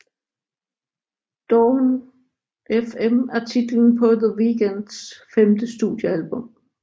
Dawn FM er titlen på The Weeknds femte studiealbum